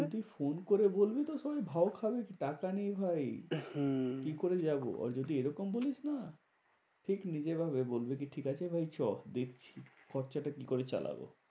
তুই ফোন করে বলবি না সবাই ভাও খাবে টাকা নেই ভাই। হম কি করে যাবো? already এরকম হলে না দেখবি এভাবে বলবে কি ঠিকাছে ভাই চো দেখছি খরচাটা কি করে চালাবো?